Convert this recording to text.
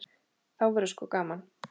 Þá verður sko gaman.